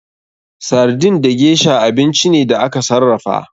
Sardin da gesha abinci ne da aka sarrafa.